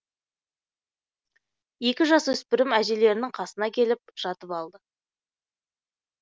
екі жасөспірім әжелерінің қасына келіп жатып алды